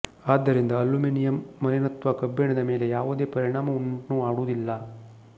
ಆದ್ದರಿಂದ ಅಲ್ಯುಮಿನಿಯಂನ ಮಲಿನತ್ವ ಕಬ್ಬಿಣದ ಮೇಲೆ ಯಾವುದೇ ಪರಿಣಾಮವನ್ನುಂಟು ಮಾಡುವುದಿಲ್ಲ